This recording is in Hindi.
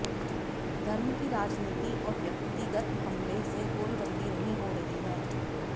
धर्म की राजनीति और व्यक्तिगत हमले से गोलबंदी नहीं हो रही है